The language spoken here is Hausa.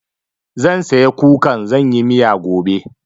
Zan saya kukan zan yi miya gobe.